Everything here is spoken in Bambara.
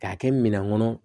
K'a kɛ minan kɔnɔ